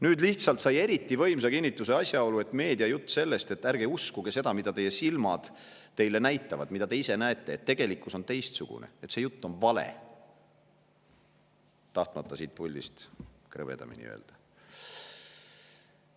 Nüüd lihtsalt sai eriti võimsa kinnituse asjaolu, et meedia jutt "Ärge uskuge seda, mida te ise oma silmaga näete, sest tegelikkus on teistsugune" on vale – tahtmata siit puldist krõbedamini öelda.